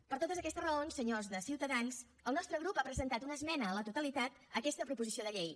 per totes aquestes raons senyors de ciutadans el nostre grup ha presentat una esmena a la totalitat a aquesta proposició de llei